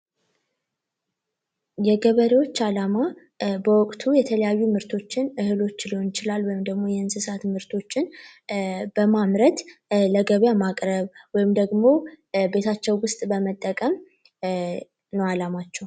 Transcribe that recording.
የገበሬዎች አላማ በወቅቱ የተለያዩ ምርቶችን እህሎች ሊሆን ይችላል ወይም ደግሞ የእንስሳት ምርቶችን በማምረት ለገበያ ማቅረብ ወይም ደግሞ ቤታቸው ውስጥ ለመጠቀም ነው አላማቸው።